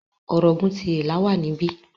Ọ̀ràngún ti Ìlá wà níbí.